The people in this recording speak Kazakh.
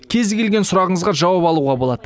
кез келген сұрағыңызға жауап алуға болады